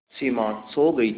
सिमा सो गई थी